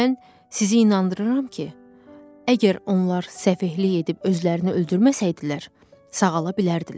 Mən sizi inandırıram ki, əgər onlar səfehlik edib özlərini öldürməsəydilər, sağala bilərdilər.